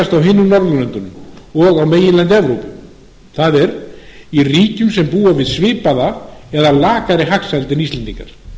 hinum norðurlöndunum og á meginlandi evrópu það er í ríkjum sem búa við svipaða eða lakari hagsæld en íslendingar